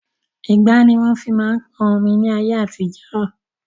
Igbá ni wọn fi máa ń pọn omi ni ayé àtijọ́